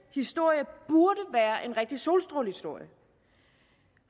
historie burde være en rigtig solstrålehistorie